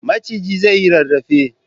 Maciji zai yi rarrafe.